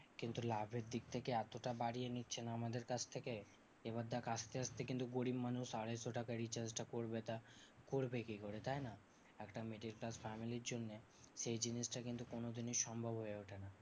কিন্তু লাভের দিক থেকে এতটা বাড়িয়ে নিচ্ছে না আমাদের কাছ থেকে এবার দেখ আসতে আসতে কিন্তু গরিব মানুষ আড়াইশো টাকা recharge টা করবে তা করবে কি করে তাইনা? একটা middle class family র জন্যে সেই জিনিসটা কিন্তু কোনোদিনই সম্ভব হয়ে ওঠে না।